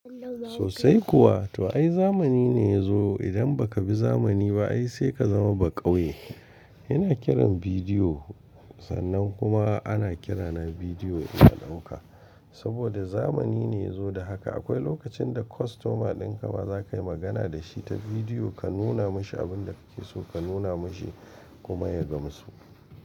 Sosai kuwa, to ai zamani ne ya zo. Idan ba ka bi zamani ba ai sai ka zama baƙauye. Ina kiran bidiyo, sannan kuma ana kirana bidiyo ina ɗauka. Saboda zamani ne ya zo da haka. Akwai lokacin da kostoma ɗin ka ma za ka yi magana da shi ta bidiyo, ka nuna mashi abin da kake so ka nuna mashi kuma ya gamsu.